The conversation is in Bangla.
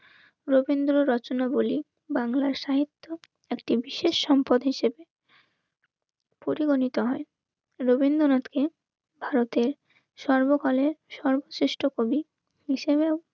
রবীন্দ্র রচনাবলী. বাংলার সাহিত্য একটি বিশেষ সম্পদ হিসেবে পরিগণিত হয় রবীন্দ্রনাথকে ভারতের সর্বকালের সর্বশ্রেষ্ঠ কবি হিসেবে